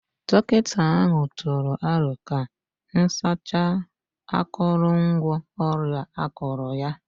Dọkịta ahụ tụrụ aro ka nsacha akuru gwọọ ọrịa akụrụ ya